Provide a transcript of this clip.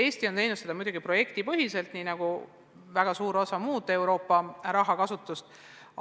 Eesti on teinud seda muidugi projektipõhiselt, nii nagu korraldades ka väga suurt osa muud Euroopa raha kasutust.